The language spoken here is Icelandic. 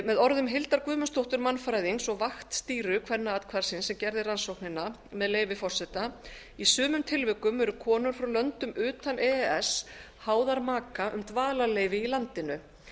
með orðum hildar guðmundsdóttur mannfræðings og vaktstýru kvennaathvarfsins sem gerði rannsóknina með leyfi forseta í sumum tilvikum eru konur frá löndum utan e e s háðar maka um dvalarleyfi í landinu